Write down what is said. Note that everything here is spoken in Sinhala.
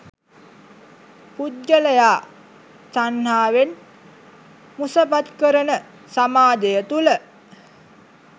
පුද්ගලයා තණ්හාවෙන් මුසපත් කරන සමාජය තුළ